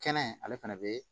Kɛnɛ ale fana bɛ